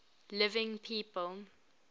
living people